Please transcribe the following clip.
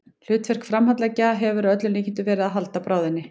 Hlutverk framhandleggjanna hefur að öllum líkindum verið að halda bráðinni.